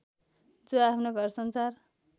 जो आफ्नो घरसंसार